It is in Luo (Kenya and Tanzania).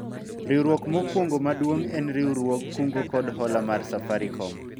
riwruok mokwongo maduong' en riwruog kungo kod hola mar Safarikom